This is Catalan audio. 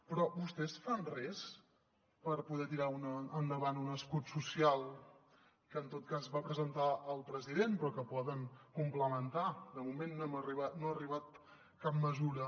però vostès fan res per poder tirar endavant un escut social que en tot cas va presentar el president però que poden complementar de moment no ha arribat cap mesura